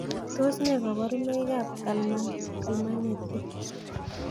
Tos ne koborunaikab kalmanetik